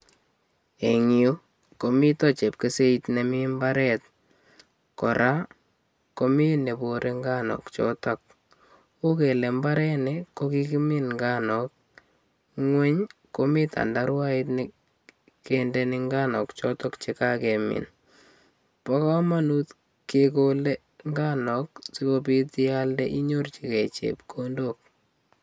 Engyu komito chepkeseit nemi mbaret. Kora komi neborei nganuk eng yotok. Uu gele mbareni kokikimin nganuk ngweny komi tandaruait ne kendeni nganuk chotok chekakemin. Bo komonut kekolei nganuk sikobit ialde inyorchikei chepkkndok.